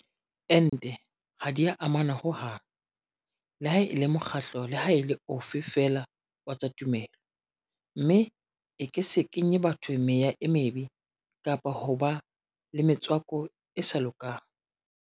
Ente ha di a amana ho hang leha e le mokgatlo leha e le ofe feela wa tsa tumelo mme e ke se kenye batho meya e mebe kapa hoba le metswako e sa lokang.